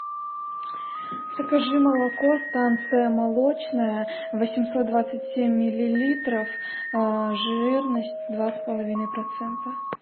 закажи молоко станция молочная восемьсот двадцать семь миллилитров жирность два с половиной процента